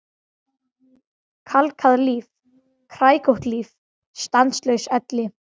Kalkað líf, kræklótt líf, stanslaus elli.